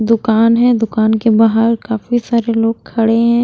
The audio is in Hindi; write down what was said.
दुकान है दुकान के बाहर काफी सारे लोग खड़े हैं।